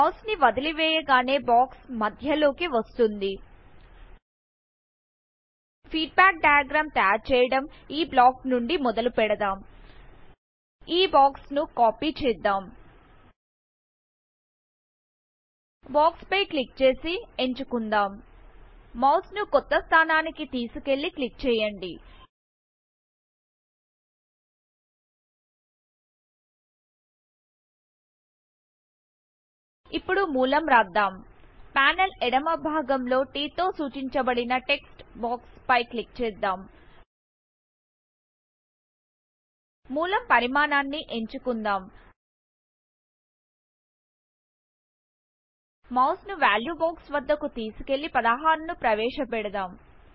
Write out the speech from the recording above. mouse ని వదిలి వేయగానే బాక్స్ మద్యలోకి వస్తుంది ఫీడ్బ్యాక్ డయాగ్రామ్ తయారు చేయడం ఈ బ్లాక్ నుండి మొదలుపెడదాం ఈ బాక్స్ ను కాపీ చేద్దాం బాక్స్ పై క్లిక్ చేసి ఎంచుకుందాం మౌస్ ను కొత్త స్థానానికి తీసుకెళ్ళి క్లిక్ చేయండి ఇప్పుడు మూలం రాద్దాం పానెల్ ఎడమ భాగం లోT తో సూచించబడిన టెక్స్ట్ బాక్స్ పై క్లిక్ చేద్దాం మూలం పరిమాణాన్ని ఎంచుకుందాం మౌస్ ను వాల్యూ బాక్స్ వద్దకు తీసుకెళ్ళి 16 ను ప్రవేశపెద్డాం